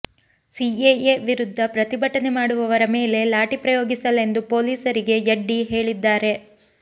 CAA ವಿರುದ್ಧ ಪ್ರತಿಭಟನೆ ಮಾಡುವವರ ಮೇಲೆ ಲಾಠಿ ಪ್ರಯೋಗಿಸಲೆಂದು ಪೊಲೀಸರಿಗೆ ಯಡ್ಡಿ ಹೇಳಿದ್ದಾರೆ